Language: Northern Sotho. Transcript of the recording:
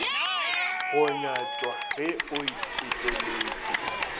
go nyatšwa ge o eteletše